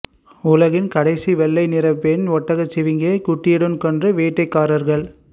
உலகின் கடைசி வெள்ளை நிற பெண் ஒட்டகச்சிவிங்கியை குட்டியுடன் கொன்ற வேட்டைக்காரர்கள்